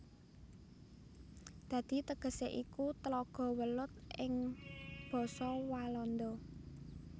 Dadi tegesé iku Tlaga Welut ing basa Walanda